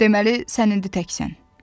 Deməli, sən indi təksən?